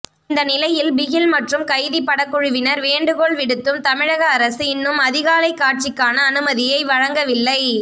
இந்த நிலையில் பிகில் மற்றும் கைதி படக்குழுவினர் வேண்டுகோள் விடுத்தும் தமிழக அரசு இன்னும் அதிகாலை காட்சிக்கான அனுமதியை வழங்கவில்லை